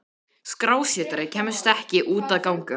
Skrásetjari kemst ekki út að ganga.